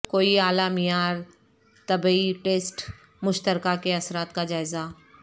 کوئی اعلی معیار طبی ٹیسٹ مشترکہ کے اثرات کا جائزہ